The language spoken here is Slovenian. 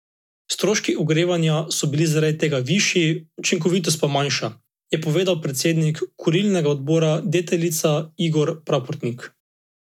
Stroški ogrevanja so bili zaradi tega višji, učinkovitost pa manjša, je povedal predsednik Kurilnega odbora Deteljica Igor Praprotnik.